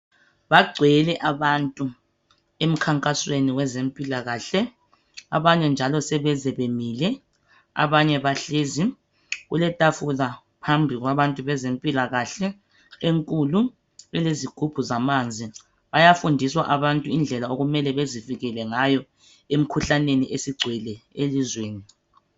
Bagcwele abantu emkhankasweni wezempilakahle. Abanye njalo sebeze bemile, abanye bahlezi, kuletafula phambi kwabantu bezempilakahle, enkulu, elezigubhu zamanzi. Bayafundiswa abantu indlela okumele bezivikele ngayo emkhuhlaneni esigcwele elizweni.